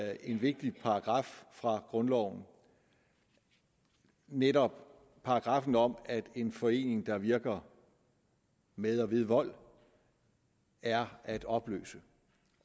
af en vigtig paragraf fra grundloven netop paragraffen om at en forening der virker med og ved vold er at opløse